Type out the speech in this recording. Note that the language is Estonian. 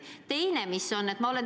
Seda esiteks.